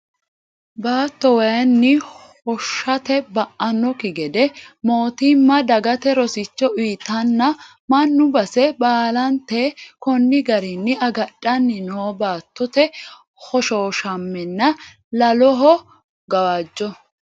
Baatto waayinni hoshoshate ba"anokki gede mootimma dagate rosicho uyitenna mannu base baallanteta koni garinni agadhanni no baattote hoshoshamenna lolahu gawajjo.